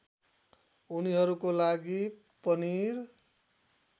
उनीहरूको लागि पनिर